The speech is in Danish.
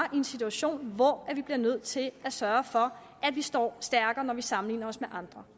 en situation hvor vi bliver nødt til at sørge for at vi står stærkere når vi sammenligner os med andre